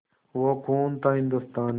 वो खून था हिंदुस्तानी